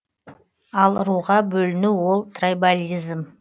ал руға бөліну ол трайбализм